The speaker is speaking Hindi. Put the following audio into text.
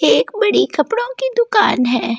एक बड़ी कपड़ों की दुकान है।